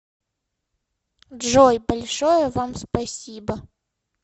джой большое вам спасибо